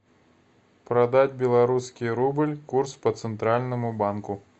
продать белорусский рубль курс по центральному банку